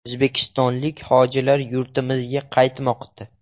O‘zbekistonlik hojilar yurtimizga qaytmoqda.